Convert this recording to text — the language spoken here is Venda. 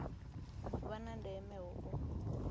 vha na ndeme hu u